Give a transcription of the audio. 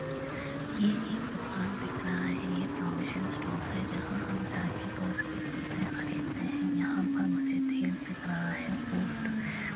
ये एक दुकान दिख रहा है | ये प्रोविशन स्टोर्स है | जहाँ हम जा के रोज़ की चीजें खरीदते हैं | यहाँ पर मुझे तेल दिख रहा है | पोस्ट -